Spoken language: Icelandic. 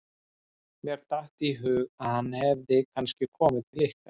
Mér datt í hug að hann hefði kannski komið til ykkar.